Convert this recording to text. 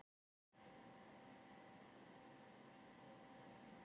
Þrjú pör fæ ég handa krökkunum mínum